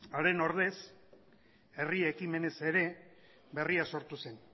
haren ordez herri ekimenez ere berria sortu zen